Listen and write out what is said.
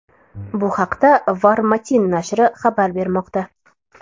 Bu haqda Var-Matin nashri xabar bermoqda .